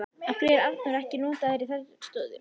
Af hverju er Arnór ekki notaður í þeirri stöðu?